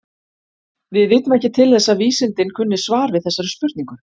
Við vitum ekki til þess að vísindin kunni svar við þessari spurningu.